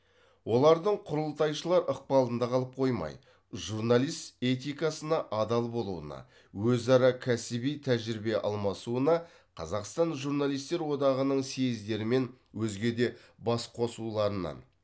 олардың құрылтайшылар ықпалында қалып қоймай журналист этикасына адал болуына өзара кәсіби тәжірибе алмасуына қазақстан журналистер одағының съездері мен өзге де басқосуларының